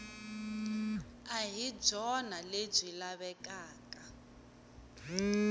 a hi byona lebyi lavekaka